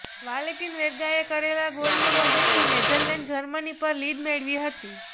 Valentin વેર્ગાએ કરેલા ગોલની મદદથી નેધરલેન્ડે જર્મની પર લીડ મેળવી હતી